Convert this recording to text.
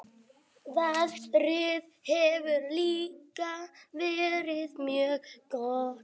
Veðrið hefur líka verið mjög gott